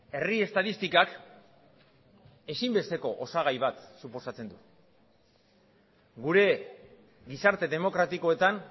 herri estatistikak ezinbesteko osagai bat suposatzen du gure gizarte demokratikoetan